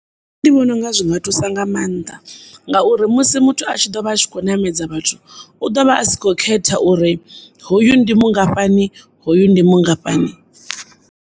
Ndi vhononga zwinga thusa nga maanḓa, ngauri musi muthu a tshi ḓovha a tshi khou namedza vhathu u ḓovha asi kho khetha uri hoyu ndi mungafhani, hoyu ndi mungafhani.